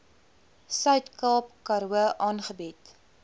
suidkaap karoo aangebied